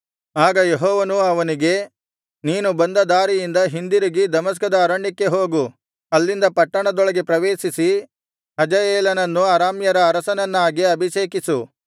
ಆಗ ಯೆಹೋವನು ಅವನಿಗೆ ನೀನು ಬಂದ ದಾರಿಯಿಂದ ಹಿಂದಿರುಗಿ ದಮಸ್ಕದ ಅರಣ್ಯಕ್ಕೆ ಹೋಗು ಅಲ್ಲಿಂದ ಪಟ್ಟಣದೊಳಗೆ ಪ್ರವೇಶಿಸಿ ಹಜಾಯೇಲನನ್ನು ಅರಾಮ್ಯರ ಅರಸನನ್ನಾಗಿ ಅಭಿಷೇಕಿಸು